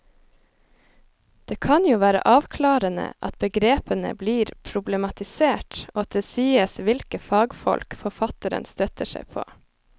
Det kan jo være avklarende at begrepene blir problematisert og at det sies hvilke fagfolk forfatteren støtter seg på.